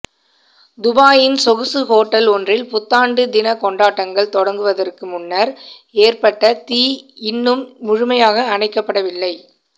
துபாயின் சொகுசு ஹோட்டல் ஒன்றில் புத்தாண்டுதினக் கொண்டாட்டங்கள் தொடங்குவதற்கு முன்னர் ஏற்பட்ட தீ இன்னும் முழுமையாக அணைக்கப்படவில்லை